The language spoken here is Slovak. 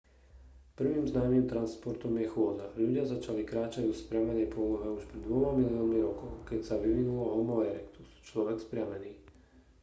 prvým známym transportom je chôdza. ľudia začali kráčať vo vzpriamenej polohe už pred dvoma miliónmi rokov keď sa vyvinul homo erectus človek vzpriamený